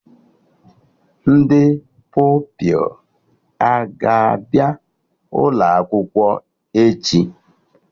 Ndị Pupilụ aga abịa ụlọ akwụkwọ echi?